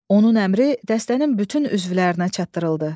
Onun əmri dəstənin bütün üzvlərinə çatdırıldı.